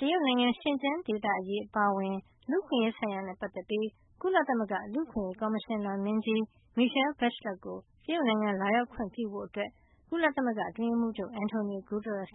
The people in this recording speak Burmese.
တရုတ်နိုင်ငံ ရှင်ကျန်းဒေသအရေး အပါအဝင် လူ့အခွင့်အရေးဆိုင်ရာနဲ့ ပတ်သက်ပြီး ကုလသမဂ္ဂ လူ့အခွင့်ရေး ကော်မရှင်နာမင်းကြီး Michelle Bachelet ကို တရုတ်နိုင်ငံ လာရောက်ခွင့်ပြုဖို့ ကုလသမဂ္ဂ အတွင်းရေးမှူးချုပ် Antonio Guterres